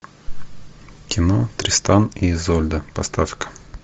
кино тристан и изольда поставь ка